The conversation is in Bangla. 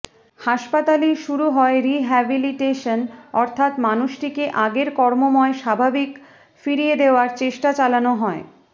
হাসপাতালেই শুরু হয় রিহ্যাবিলিটেশান অর্থাৎ মানুষটিকে আগের কর্মময় স্বাভাবিক ফিরিয়ে দেওয়ার চেষ্টা চালোনো হয়